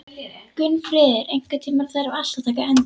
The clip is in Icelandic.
Gunnfríður, einhvern tímann þarf allt að taka enda.